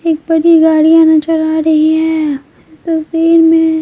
उपर एक बड़ी गाड़ियां नजर आ रही है इस तस्वीर में--